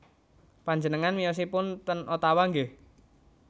Panjenengan miyosipun ten Ottawa nggih